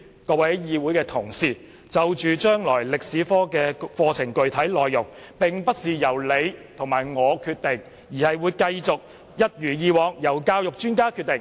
各位議會同事，將來中史科課程的具體內容，並非由你我決定，而是會一如以往由教育專家決定。